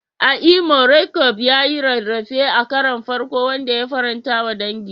A Imo, Roqeeb ya yi rarrafe a karon farko, wanda ya faranta wa dangi.